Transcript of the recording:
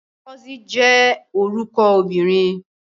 Ngozi jẹ́ orúkọ obìnrin.